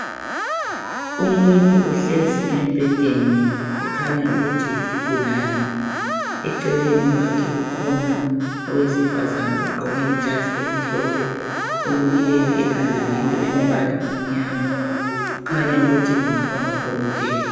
Umuntu ohlezi embhedeni ekhanya ukuthi yisigulane eceleni kwakhe kukhona owesifazana ogqoke ijazi elimhlophe olukileyo ekhanda ngento elombala omnyama. Kukhanya ukuthi kungaba ngudokotela.